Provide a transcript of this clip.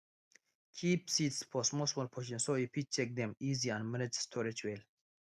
keep seeds for smallsmall portion so you fit check dem easy and manage storage well